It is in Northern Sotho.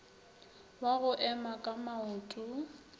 wa go ema ka maoto